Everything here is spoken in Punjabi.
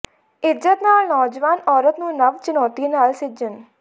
ਇਜ਼ਤ ਨਾਲ ਨੌਜਵਾਨ ਔਰਤ ਨੂੰ ਨਵ ਚੁਣੌਤੀ ਨਾਲ ਸਿੱਝਣ